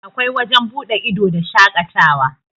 akwai wajen buɗe ido da shaƙatawa